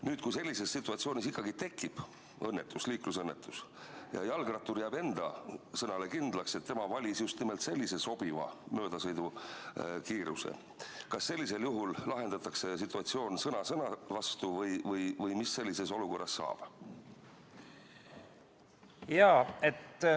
Nüüd, kui sellises situatsioonis ikkagi tekib õnnetus, liiklusõnnetus, ja jalgrattur jääb endale kindlaks, et tema valis just nimelt sobiva möödasõidukiiruse, siis kas sellisel juhul lahendatakse situatsioon sõna sõna vastu või mis sellises olukorras saab?